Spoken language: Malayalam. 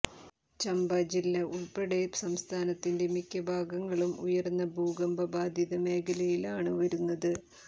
ചമ്പ ജില്ല ഉള്പ്പെടെ സംസ്ഥാനത്തിന്റെ മിക്ക ഭാഗങ്ങളും ഉയര്ന്ന ഭൂകമ്പബാധിത മേഖലയിലാണ് വരുന്നത്